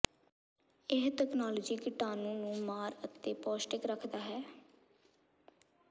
ਇਹ ਤਕਨਾਲੋਜੀ ਕੀਟਾਣੂ ਨੂੰ ਮਾਰ ਅਤੇ ਪੌਸ਼ਟਿਕ ਰੱਖਦਾ ਹੈ